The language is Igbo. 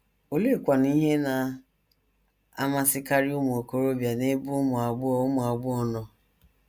Oleekwanụ ihe na - amasịkarị ụmụ okorobịa n’ebe ụmụ agbọghọ ụmụ agbọghọ nọ?